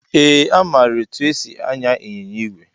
Ee amara etụ esị anya ịnyịnya ìgwè.